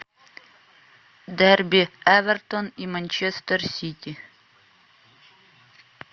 дерби эвертон и манчестер сити